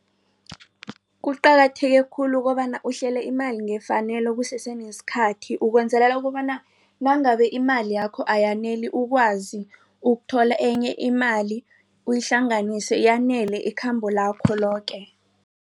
Kuqakatheke khulu ukobana uhlele imali ngefanelo kusesenesikhathi ukwenzelela kobana nangabe imali yakho ayaneli ukwazi ukuthola enye imali uyihlanganise yanele ikhambo lakho loke.